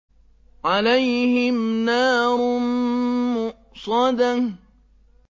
عَلَيْهِمْ نَارٌ مُّؤْصَدَةٌ